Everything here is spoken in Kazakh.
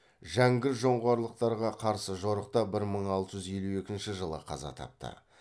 жәңгір жоңғарларға қарсы жорықта бір мың алты жүз елу екінші жылы қаза тапты